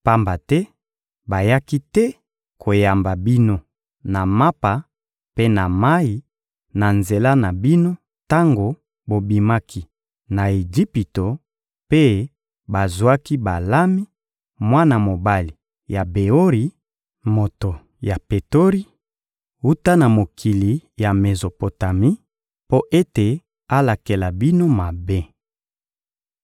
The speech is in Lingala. Pamba te bayaki te koyamba bino na mapa mpe na mayi na nzela na bino tango bobimaki na Ejipito; mpe bazwaki Balami, mwana mobali ya Beori, moto ya Petori, wuta na mokili ya Mezopotami, mpo ete alakela bino mabe.